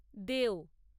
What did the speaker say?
দেও